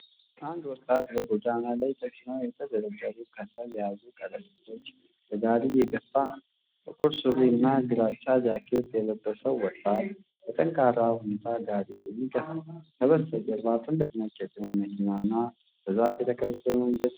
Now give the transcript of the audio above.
አንድ ወጣት በጎዳና ላይ ተጭነው የተደረደሩ ከሰል የያዙ ከረጢቶችን በጋሪ እየገፋ ነው። ጥቁር ሱሪና ግራጫ ጃኬት የለበሰው ወጣት በጠንካራ ሁኔታ ጋሪውን ይገፋል። ከበስተጀርባ ትልቅ ነጭ የጭነት መኪና እና በዛፍ የተከበበ መንገድ ይታያል።